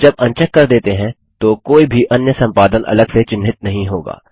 जब अनचेक कर देते हैं तो कोई भी अन्य संपादन अलग से चिन्हित नहीं होगा